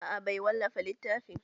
A'a bai wallafa littafin